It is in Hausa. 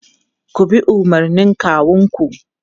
Ku bi umarnin kawunku!